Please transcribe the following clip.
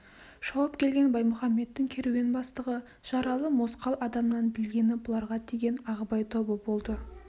шауып келген баймұхамедтің керуен бастығы жаралы мосқал адамнан білгені бұларға тиген ағыбай тобы болды